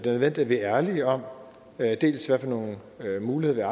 at vi er ærlige om dels hvad for nogle muligheder